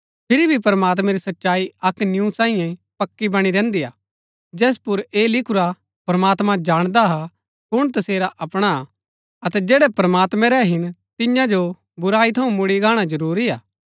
फिरी भी प्रमात्मैं री सच्चाई अक्क निऊँ सांईयै पक्की बणी रैहन्‍दी है जैस पुर ऐह लिखुरा प्रमात्मां जाणदा हा कुण तसेरा अपणा हा अतै जैड़ै प्रमात्मैं रै हिन तिन्या जो बुराई थऊँ मुड़ी गाणा जरूरी हा